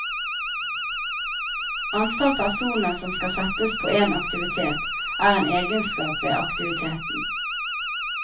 Antall personer som skal settes på en aktivitet, er en egenskap ved aktiviteten.